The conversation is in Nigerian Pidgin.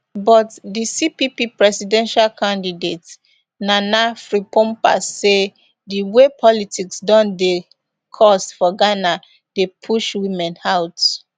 but di cpp presidential candidate nana frimpomaa say di way politics don dey cost for ghana dey push women out